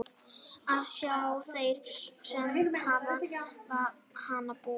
Það sjá þeir sem við hana búa.